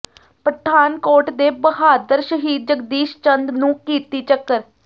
ਪਠਾਨਕੋਟ ਦੇ ਬਹਾਦਰ ਸ਼ਹੀਦ ਜਗਦੀਸ਼ ਚੰਦ ਨੂੰ ਕੀਰਤੀ ਚੱਕਰ